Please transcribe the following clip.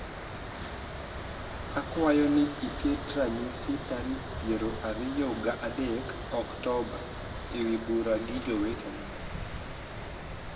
akwayo ni iket ranyisi tarik piero ariyo ga adek oktoba aewi bura gi jowetena